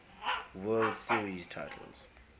world series titles